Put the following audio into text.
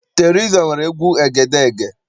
Teriza nwere egwu egedeege n'ala Igbo.